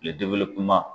Kile kuma